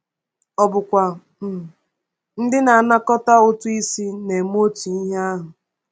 Ọ̀ bụkwa um ndị na-anakọta ụtụ isi na-eme otu ihe ahụ?